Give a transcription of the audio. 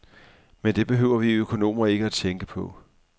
Men det behøver vi økonomer ikke tænke på.